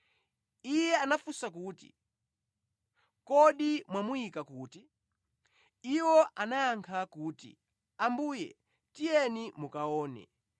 Iye anafunsa kuti, “Kodi mwamuyika kuti?” Iwo anayankha kuti, “Ambuye tiyeni mukaone.”